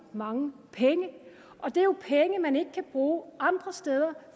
mange penge og det er jo penge man så ikke kan bruge andre steder